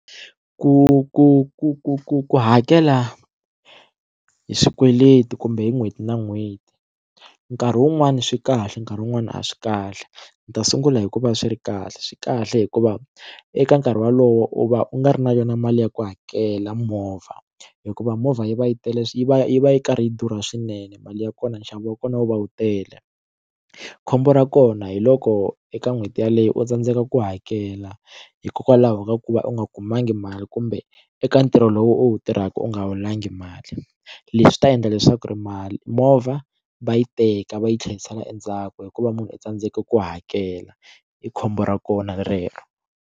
Ku ku ku ku ku ku hakela hi swikweleti kumbe hi n'hweti na n'hweti nkarhi wun'wani swi kahle nkarhi wun'wani a swi kahle ndzi ta sungula hi ku va swi ri kahle, swi kahle hikuva eka nkarhi wolowo u va u nga ri na yona mali ya ku hakela movha hikuva movha yi va yi tele yi va yi va yi karhi yi durha swinene mali ya kona nxavo wa kona wu va wu tele khombo ra kona hiloko eka n'hweti yeleyo u tsandzeka ku hakela hikokwalaho ka ku va u nga kumangi mali kumbe eka ntirho lowu u wu tirhaka u nga holangi mali leswi ta endla leswaku ri mali movha va yi teka va yi tlherisela endzhaku hikuva munhu u tsandzeke ku hakela i khombo ra kona rero.